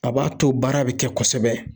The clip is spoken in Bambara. A b'a to baara bɛ kɛ kosɛbɛ